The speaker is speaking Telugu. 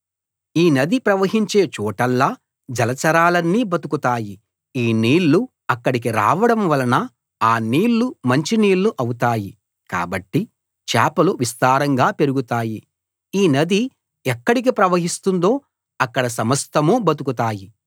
ఈ నది ప్రవహించే చోటల్లా జలచరాలన్నీ బతుకుతాయి ఈ నీళ్లు అక్కడికి రావడం వలన ఆ నీళ్ళు మంచి నీళ్ళు అవుతాయి కాబట్టి చేపలు విస్తారంగా పెరుగుతాయి ఈ నది ఎక్కడికి ప్రవహిస్తుందో అక్కడ సమస్తం బతుకుతాయి